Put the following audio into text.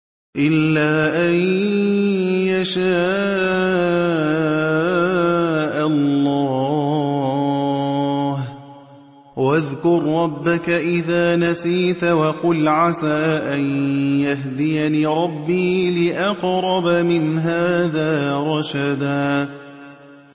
إِلَّا أَن يَشَاءَ اللَّهُ ۚ وَاذْكُر رَّبَّكَ إِذَا نَسِيتَ وَقُلْ عَسَىٰ أَن يَهْدِيَنِ رَبِّي لِأَقْرَبَ مِنْ هَٰذَا رَشَدًا